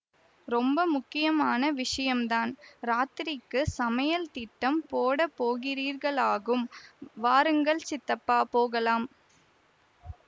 ரொம்ப முக்கியமான விஷயந்தான் இராத்திரிக்குச் சமையல் திட்டம் போடப் போகிறீர்களாக்கும் வாருங்கள் சித்தப்பா போகலாம்